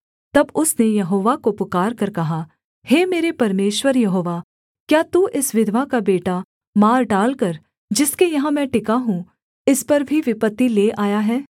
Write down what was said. तब उसने यहोवा को पुकारकर कहा हे मेरे परमेश्वर यहोवा क्या तू इस विधवा का बेटा मार डालकर जिसके यहाँ मैं टिका हूँ इस पर भी विपत्ति ले आया है